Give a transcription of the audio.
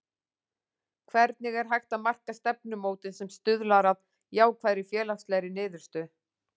Hvernig er hægt að marka stefnumótun sem stuðlar að jákvæðri félagslegri niðurstöðu?